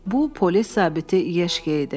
Bu polis zabiti Yeşke idi.